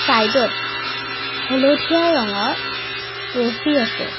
চাইডত হালধীয়া ৰঙৰ ৰছী আছে।